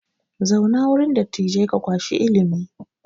Zauna wurin dattijai ka kwashi ilimi!